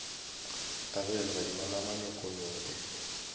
a ge legadima la manyokenyoke